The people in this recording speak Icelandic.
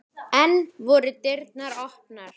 Enn voru dyrnar opnar.